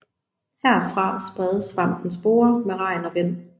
Herfra spredes svampens sporer med regn og vind